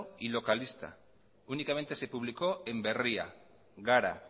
y localista únicamente se publicó en berria gara